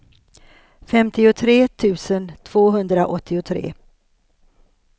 femtiotre tusen tvåhundraåttiotre